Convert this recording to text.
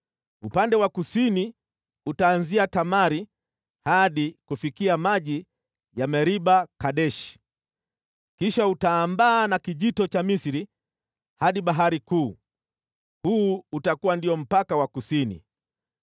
Upande wa kusini utaanzia Tamari hadi kufikia maji ya Meriba-Kadeshi, kisha utaambaa na Kijito cha Misri hadi Bahari Kuu. Huu utakuwa ndio mpaka wa kusini.